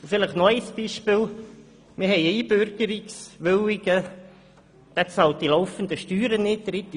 Vielleicht noch ein weiteres Beispiel: Wir haben einen Einbürgerungswilligen, der die laufenden Steuern nicht bezahlt.